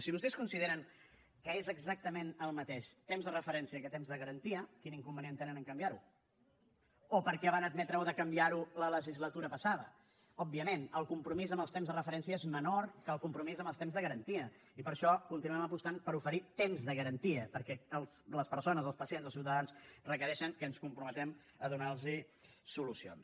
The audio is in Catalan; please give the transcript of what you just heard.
si vostès consideren que és exactament el mateix temps de referència que temps de garantia quin inconvenient tenen a canviar ho o per què van admetre de canviar ho la legislatura passada òbviament el compromís amb els temps de referència és menor que el compromís amb els temps de garantia i per això continuem apostant per oferir temps de garantia perquè les persones els pacients els ciutadans requereixen que ens comprometem a donar los solucions